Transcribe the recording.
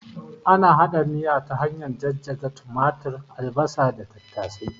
Ana hada miya ta hanyar jajjaga tumatur, albasa da tattasai